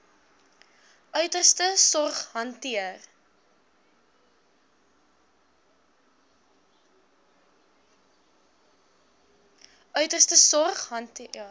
uiterste sorg hanteer